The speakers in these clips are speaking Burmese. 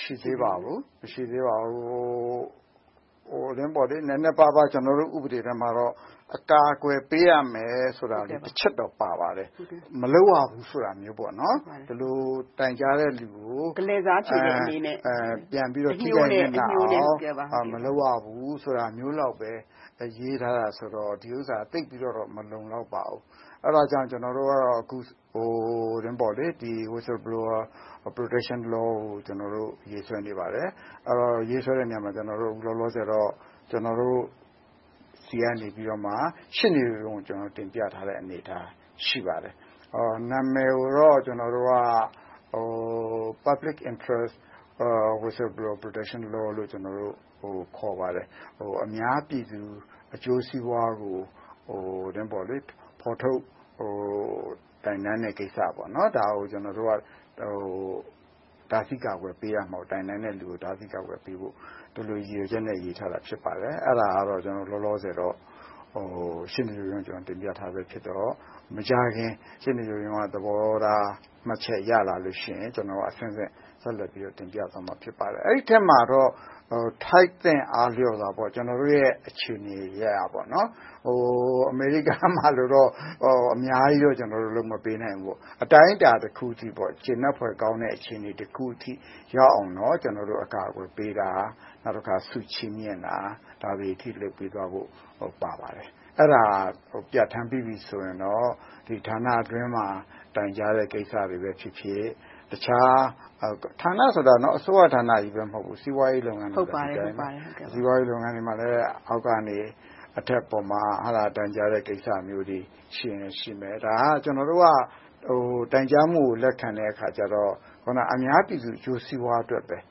ရှိသေးပါဘူး။ နည်းနည်းပါးပါး ကျနော်တို့ ဥပဒေထဲမှာတော့ အကာအကွယ်ပေးရမယ်ဆိုတာမျိုး တစ်ချက်တော့ ပါပါတယ်။ မလုပ်ရဘူးဆိုတာမျိုး - ဒီလိုတိုင်ကြားတဲ့လူကို ပြန်ပြီးတော့ မလုပ်ရဘူးဆိုတာမျိုးလောက်ပဲ ရေးထားတာဆိုတော့ ဒီဥစ္စာက သိပ်ပြီတော့ မလုံလောက်ပါဘူး။ အဲဒါကြောင့် ကျနော်တို့က Whistleblower Protection Law ကို ရေးဆွဲနေပါတယ်။ ရေးဆွဲတဲ့နေရာမှာ လောလောဆယ်တော့ ကျနော်တို့ဆီကနေ ရှေ့နေရုံးကို တင်ပြထားတဲ့ အနေအထား ရှိပါတယ်။ နာမည်ကိုတော့ ကျနော်တို့က Public Interest Whistleblower Protection Law လို့ ခေါ်ပါတယ်။ အများပြည်သူအကျိုးစီးပွားကို ဖော်ထုတ်တိုင်တန်တဲ့ကိစ္စ။ ဒါကို ကျနော်တို့က တိုင်တန်တဲ့လူကို တားဆီးကာကွယ်ပေးရမယ်ဆိုတဲ့ ရည်ရွယ်ချက်နဲ့ ရေးဆွဲထားခြင်း ဖြစ်ပါတယ်။ အဲဒါကတော့ လောလောဆယ်တော့ ရှေ့နေရုံးကို တင်ပြထားတာဖြစ်တော့ မကြာခင်ရှေ့နေရုံးက သဘောထားမှတ်ချက် ရလာလို့ရှိရင် ကျနော်တို့က အဆင့်ဆင့်တင်ပြသွားဖို့ ရှိပါတယ်။ အဲဒီအထဲမှာတော့ ထိုက်သင့်အားလျော်စွာ ကျနော်တို့ရဲ့ အခြေအနေတွေ အရပ်ရပ်ကြောင့်ပေါ့ - အမေရိကလိုတော့ အများကြီး မလုပ်ပေးနိုင်ဘူးပေါ့။ အတတ်နိုင်ဆုံး အတိုင်းအတာတခုအထိ ကျေနပ်ဖွယ်ကောင်းတဲ့ အခြေအနေတခုအထိ ရောက်အောင်တော့ အကာအကွယ်ပေးတာ၊ ဆုချီးမြင့်တာ ဒါတွေအထိ လုပ်ပေးသွားဖို့ ပါပါတယ်။ အဲဒါပြဌာန်းပေးပြီးပြီဆိုရင်တော့ ဌာနအတွင်းမှာ တိုင်ကြားတဲ့ကိစ္စတွေပဲဖြစ်ဖြစ်၊ ဌာနဆိုတာ အစိုးရဌာနကြီးပဲ မဟုတ်ဘူး၊ စီးပွားရေးလုပ်ငန်းတွေမှာလဲ အောက်ကနေ အတက်အပေါ် တိုင်ကြားတဲ့ကိစ္စမျိုးတွေ ရှိရင်လဲရှိမယ်။ ဒါက ကျနော်တို့က တိုင်ကြားမှုကို လက်ခံတဲ့အခါကြတော့ အများပြည်သူအကျိုးစီးပွားအတွက်ပဲ၊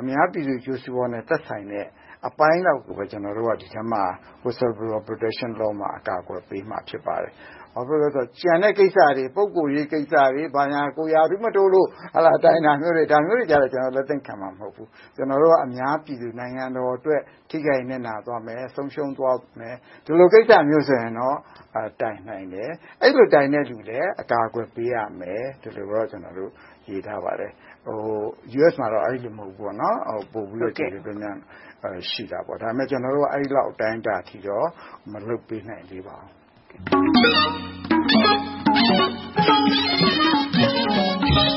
အများပြည်သူအကျိုးစီးပွားနဲ့ သက်ဆိုင်တဲ့အပိုင်းလောက်ကိုပဲ Whistleblower Protection Law မှာ အကာအကွယ်ပေးမှာ ဖြစ်ပါတယ်။ ဘာဖြစ်လို့လဲဆိုတော့ ကျန်တဲ့ကိစ္စတွေ ပုဂ္ဂိုလ်ရေးကိစ္စတွေ၊ ကိုယ်ရာထူးမတိုးလို့ တိုင်တဲ့ကိစ္စတွေ ဒါမျိုးတွေကိုတော့ ကျနော်တို့ လက်သင့်ခံမှာ မဟုတ်ဘူး။ ကျနော်တို့က အများပြည်သူ၊ နိုင်ငံတော်အတွက် ထိခိုက်နစ်နာသွားမယ်။ ဆုံးရှုံးသွားမယ့် ဒီလိုမျိုးကိစ္စတွေဆိုရင်တော့ တိုင်ကြားနိုင်တယ်။ အကာအကွယ်ပေးရမယ်။ ဒါမျိုးတွေတော့ ရေးထားပါတယ်။ အမေရိကမှာတော့ အဲဒီလိုမျိုး မဟုတ်ဘူးပေါ့ - ပိုပြီးတော့ ကျယ်ကျယ်ပြန့်ပြန့် ရှိတယ်။ ဒါပေမဲ့ ကျနော်တို့က အဲဒီလောက် အတိုင်းအတာအထိတော့ မလုပ်ပေးနိုင်သေးပါဘူး။